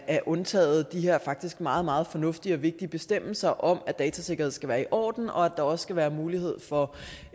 er undtaget de her faktisk meget meget fornuftige og vigtige bestemmelser om at datasikkerhed skal være i orden og at der også skal være mulighed for